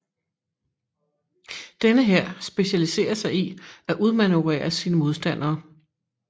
Denne hær specialiserer sig i at udmanøvrere sine modstandere